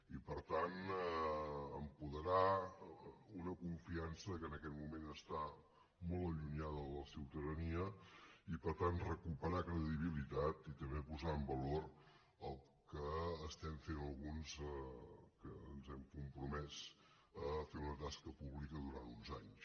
i per tant apoderar una confiança que en aquest moment està molt allunyada de la ciutadania i per tant recuperar credibilitat i també posar en valor el que estem fent alguns que ens hem compromès a fer una tasca pública durant uns anys